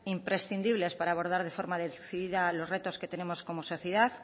imprescindibles para abordar de forma decidida los retos que tenemos como sociedad